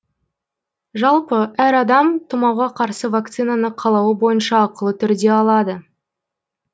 жалпы әр адам тұмауға қарсы вакцинаны қалауы бойынша ақылы түрде алады